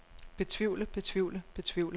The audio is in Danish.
betvivle betvivle betvivle